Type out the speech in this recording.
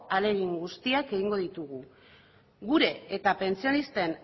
ahalegin guztiak egingo ditugu gure eta pentsionisten